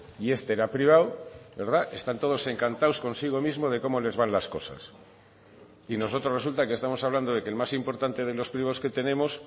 y este era privado están todos encantados consigo mismo de cómo les van las cosas y nosotros resulta que estamos hablando de que el más importante de los privados que tenemos